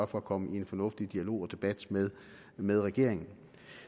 for at komme i en fornuftig dialog med regeringen